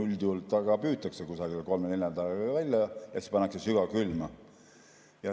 Üldjuhul püütakse kolme‑nelja nädalaga välja ja pannakse sügavkülma.